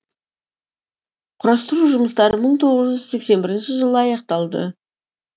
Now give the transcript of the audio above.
құрастыру жұмыстары мың тоғыз жүз сексен бірінші жылы аяқталды